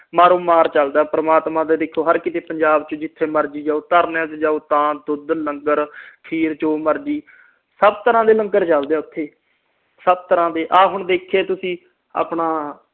ਮਾਰੋਂ ਮਾਰ ਚਲਦਾ ਪ੍ਰਮਾਤਮਾ ਦਾ ਦੇਖੋ ਪੰਜਾਬ ਚ ਜਿਥੇ ਮਰਜੀ ਜਾਓ ਧਰਨਿਆਂ ਤੇ ਜਾਓ ਤਾ ਦੁੱਧ ਲੰਗਰ ਖੀਰ ਜੋ ਮਰਜ਼ੀ ਸਬ ਤਰਾਂ ਦੇ ਲੰਗਰ ਚਲਦੇ ਓਥੇ ਸਬ ਤਰਾਂ ਦੇ ਆ ਹੁਣ ਦੇਖਿਆ ਤੁਸੀ ਆਪਣਾ